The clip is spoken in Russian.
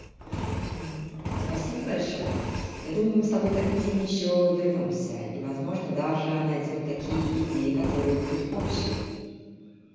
спасибо большое я думаю мы с тобой к этой теме ещё вернёмся и возможно даже она идём такие идеи которые будут общие